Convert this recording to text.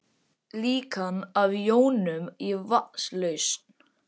Líkan af jónum í vatnslausn.